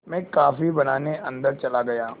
मैं कॉफ़ी बनाने अन्दर चला गया